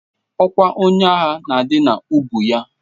Ọkwa onye agha na-adị n'ubu ya.